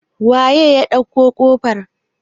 waye ya ɗauko kofar?